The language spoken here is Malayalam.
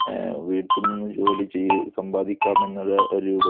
വീട്ടില്‍ നിന്ന് ജോലി ചെയ്ത് സമ്പാദിക്കാം എന്നുള്ള രൂപത്തില്‍